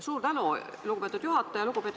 Suur tänu, lugupeetud juhataja!